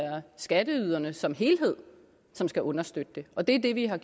er skatteyderne som helhed som skal understøtte det og det er det vi har